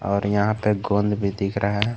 और यहां पर गोंद भी दिख रहा है।